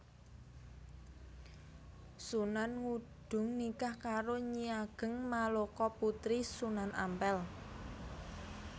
Sunan Ngudung nikah karo Nyi Ageng Maloka putri Sunan Ampèl